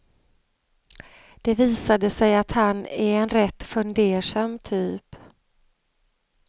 Det visade sig att han är en rätt fundersam typ.